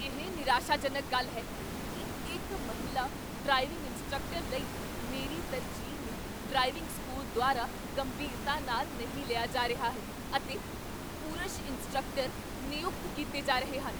ਇਹ ਨਿਰਾਸ਼ਾਜਨਕ ਗੱਲ ਹੈ ਕੀ ਇੱਕ ਮਹਿਲਾ ਡਰਾਈਵਿੰਗ ਇੰਸਟ੍ਰਕਟਰ ਲਈ ਮੇਰੀ ਤਰਜੀਹ ਨੂੰ ਡਰਾਈਵਿੰਗ ਸਕੂਲ ਦੁਆਰਾ ਗੰਭੀਰਤਾ ਨਾਲ ਨਹੀਂ ਲਿਆ ਜਾ ਰਿਹਾ ਹੈ, ਅਤੇ ਪੁਰਸ਼ ਇੰਸਟ੍ਰਕਟਰ ਨਿਯੁਕਤ ਕੀਤੇ ਜਾ ਰਹੇ ਹਨ।